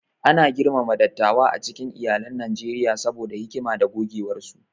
Ana girmama dattawa a cikin iyalan Najeriya saboda hikima da gogewarsu.